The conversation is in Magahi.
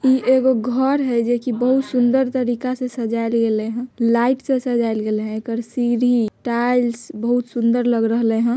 ई एगो घर हई जेकी बहुत सुन्दर तरीका से सजायल गइले हन। लाइट से सजायल गैल हन। ऐकर सीढ़ी टाइल्स बहुत सुंदर लग रहले हन।